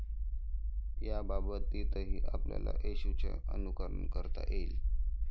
याबाबतीतही आपल्याला येशूचं अनुकरण करता येईल.